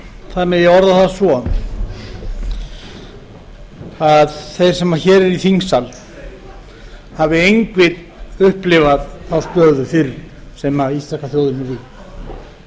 það megi orða það svo að þeir sem hér eru í þingsal hafi engir upplifað þá stöðu fyrr sem íslenska þjóðin er í